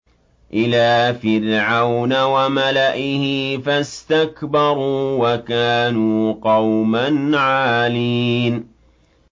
إِلَىٰ فِرْعَوْنَ وَمَلَئِهِ فَاسْتَكْبَرُوا وَكَانُوا قَوْمًا عَالِينَ